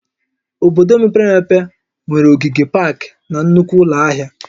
Obodo mepere emepe nwere ogige paakị na nnukwu ụlọ ahịa